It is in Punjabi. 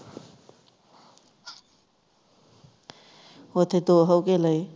ਓਥੇ ਦੋ ਹੋਕੇ ਲਾਏ